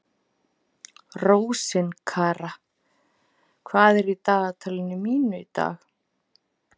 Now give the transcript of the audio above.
Rósinkara, hvað er í dagatalinu mínu í dag?